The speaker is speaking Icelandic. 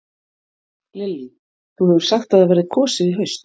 Lillý: Þú hefur sagt að það verði kosið í haust?